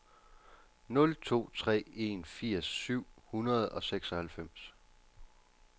nul to tre en firs syv hundrede og seksoghalvfems